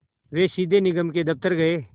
वे सीधे निगम के दफ़्तर गए